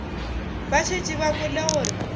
ba šetše ba kwele gore